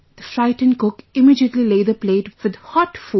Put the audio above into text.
The frightened cook immediately lay the plate with hot food